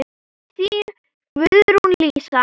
Þín, Guðrún Lísa.